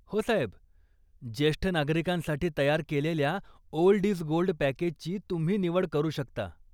हो साहेब. जेष्ठ नागरिकांसाठी तयार केलेल्या 'ओल्ड इज गोल्ड' पॅकेजची तुम्ही निवड करू शकता.